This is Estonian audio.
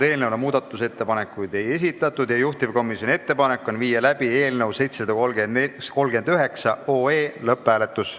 Eelnõu kohta muudatusettepanekuid ei esitatud ja juhtivkomisjoni ettepanek on viia läbi lõpphääletus.